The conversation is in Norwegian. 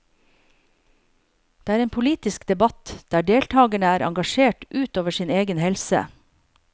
Det er en politisk debatt der deltagerne er engasjert ut over sin egen helse.